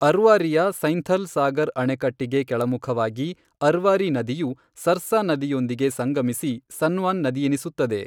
ಅರ್ವಾರಿಯ ಸೈಂಥಲ್ ಸಾಗರ್ ಅಣೆಕಟ್ಟಿಗೆ ಕೆಳಮುಖವಾಗಿ, ಅರ್ವಾರಿ ನದಿಯು ಸರ್ಸಾ ನದಿಯೊಂದಿಗೆ ಸಂಗಮಿಸಿ ಸನ್ವಾನ್ ನದಿಯೆನಿಸುತ್ತದೆ.